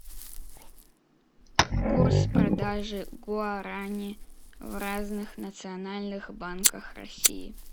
курс продажи гуарани в разных национальных банках россии